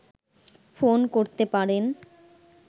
phone করতে পারেন